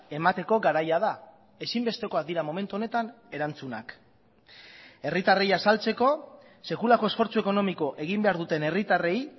emateko garaia da ezinbestekoak dira momentu honetan erantzunak herritarrei azaltzeko sekulako esfortzu ekonomiko egin behar duten herritarrei